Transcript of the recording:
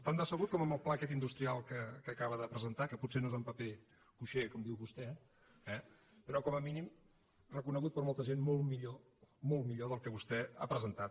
tan decebut com amb el pla aquest industrial que acaba de presentar que potser no és en paper cuixé com diu vostè eh però com a mínim reconegut per molta gent molt millor molt millor del que vostè ha presentat